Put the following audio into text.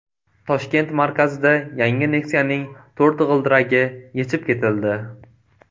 Toshkent markazida yangi Nexia’ning to‘rt g‘ildiragi yechib ketildi.